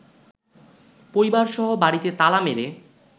পরিবারসহ বাড়িতে তালা মেরে